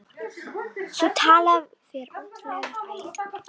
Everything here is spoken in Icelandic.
Sú tala fer ótrúlega nærri þeirri tölu sem gagnagrunnur Íslendingabókar segir til um.